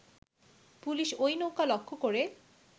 police ঐ নৌকা লক্ষ্য করে